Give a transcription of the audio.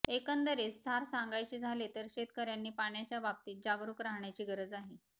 एकंदरीत सार सांगायचे झाले तर शेतकर्यांनी पाण्याच्या बाबतीत जागरुक राहण्याची गरज आहे